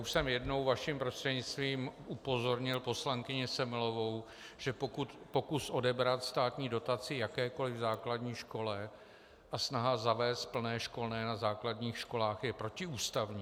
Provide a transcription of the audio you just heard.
Už jsem jednou vaším prostřednictvím upozornil poslankyni Semelovou, že pokus odebrat státní dotaci jakékoliv základní škole a snaha zavést plné školné na základních školách je protiústavní.